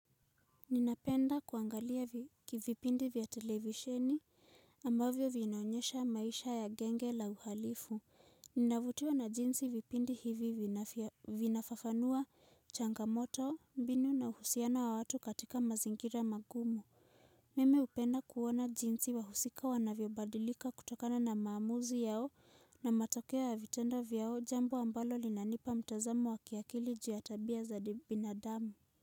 Ninapenda kuangalia kivipindi vya televisheni ambavyo vinaonyesha maisha ya genge la uhalifu. Ninavutiwa na jinsi vipindi hivi vinafafanua changamoto mbinu na uhusiana wa watu katika mazingira magumu. Mimi upenda kuona jinsi wahusika wanavyo badilika kutokana na maamuzi yao na matakeo ya vitendo vyao jambo ambalo linanipa mtazamo wa kiakili ju ya tabia za binadamu Muzika.